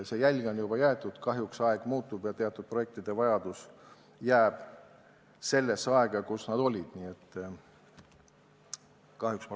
See jälg on juba jäetud, kuid aeg muutub ja vajadus teatud projektide järele jääb sellesse aega, kui need projektid päevakorral olid.